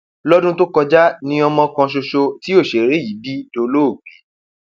lọdún tó kọjá ni ọmọ kan ṣoṣo tí òṣèré yìí bí dolóògbé